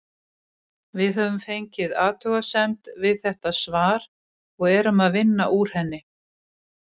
Við höfum fengið athugasemd við þetta svar og erum að vinna úr henni.